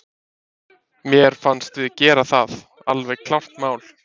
Mér fannst við gera það, alveg klárt mál.